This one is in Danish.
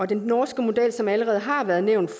den norske model som allerede har været nævnt